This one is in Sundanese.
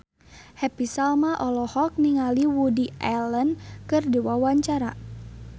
Happy Salma olohok ningali Woody Allen keur diwawancara